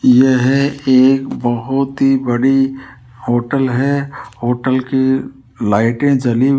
यह एक बहोत ही बड़ी होटल है होटल की लाइटें जली --